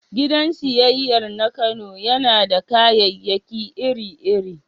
Gidan siyayyar na Kano yana da kayayyaki iri-iri